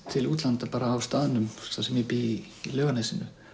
til útlanda bara á staðnum þar sem ég bý í Laugarnesinu